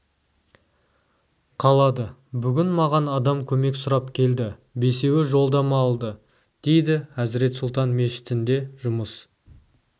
қалады бүгін маған адам көмек сұрап келді бесеуі жолдама алды дейді әзірет сұлтан мешітінде жұмыс